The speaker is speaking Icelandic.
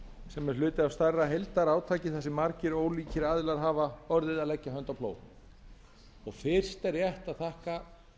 sem er hluti af stærra heildarátaki þar sem margir ólíkir aðilar hafa orðið að leggja hönd á plóg fyrst er rétt að þakka